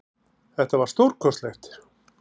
Þetta var alveg stórkostlegt